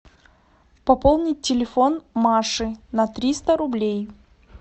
пополнить телефон маши на триста рублей